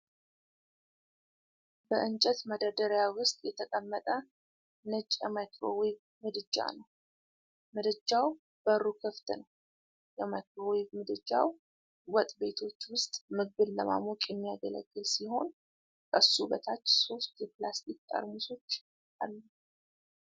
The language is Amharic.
በእንጨት መደርደሪያ ውስጥ የተቀመጠ ነጭ የማይክሮዌቭ ምድጃ ነው ። ምድጃው በሩ ክፍት ነው ። የማይክሮዌቭ ምድጃው ወጥ ቤቶች ውስጥ ምግብን ለማሞቅ የሚያገለግል ሲሆን፣ ከሱ በታች ሦስት የፕላስቲክ ጠርሙሶች አሉ።